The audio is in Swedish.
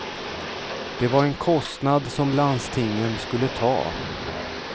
Det var en kostnad som landstingen skulle ta.